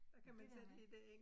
Men det der med